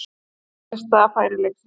Síðasta færi leiksins.